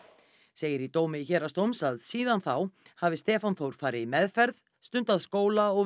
segir í dómi Héraðsdóms að síðan þá hafi Stefán Þór farið í meðferð stundað skóla og